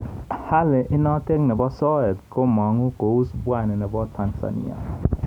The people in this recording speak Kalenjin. Hali inotok nebo soet kemong'u kouus Pwani nebo Tanzania.